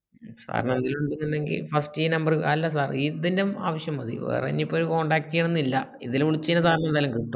sir ന് അതിലു വിളിച്ചക്കുണ്ടേൽ first ഈ number ൽ അല്ല sir ഇതെന്നെ ആവ്ശ്യം മതി വേറെഞ്ഞിപ്പൊ contact ചെയ്യണനില്ല ഇതില് വിളിച്ചെയ്ഞ്ഞാൽ sir ന് എന്തായാലും കിട്ടും